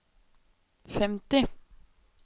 femti